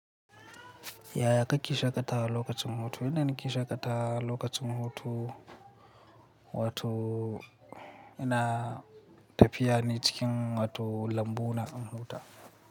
Yaya kake shaƙatawa lokacin hutu? Ina shaƙatawa lokacin hutu, wato ina tafiya ne cikin wato lambu na in huta.